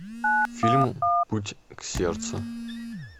фильм путь к сердцу